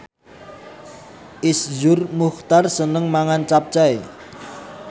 Iszur Muchtar seneng mangan capcay